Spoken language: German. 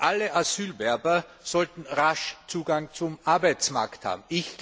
Alle Asylwerber sollten rasch Zugang zum Arbeitsmarkt haben.